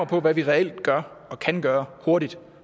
på hvad vi reelt gør og kan gøre hurtigt